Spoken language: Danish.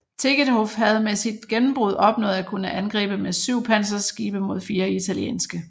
Tegetthoff havde med sit gennembrud opnået at kunne angribe med syv panserskibe mod fire italienske